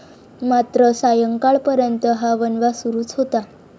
मात्र सायंकाळपर्यंत हा वणवा सुरूच होता.